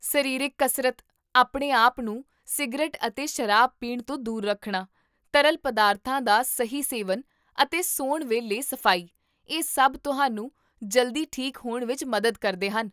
ਸਰੀਰਕ ਕਸਰਤ, ਆਪਣੇ ਆਪ ਨੂੰ ਸਿਗਰਟ ਅਤੇ ਸ਼ਰਾਬ ਪੀਣ ਤੋਂ ਦੂਰ ਰੱਖਣਾ, ਤਰਲ ਪਦਾਰਥਾਂ ਦਾ ਸਹੀ ਸੇਵਨ ਅਤੇ ਸੌਣ ਵੇਲੇ ਸਫ਼ਾਈ, ਇਹ ਸਭ ਤੁਹਾਨੂੰ ਜਲਦੀ ਠੀਕ ਹੋਣ ਵਿੱਚ ਮਦਦ ਕਰਦੇ ਹਨ